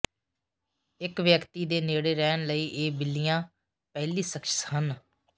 ਇਕ ਵਿਅਕਤੀ ਦੇ ਨੇੜੇ ਰਹਿਣ ਲਈ ਇਹ ਬਿੱਲੀਆਂ ਪਹਿਲੀ ਸ਼ਖ਼ਸ ਸਨ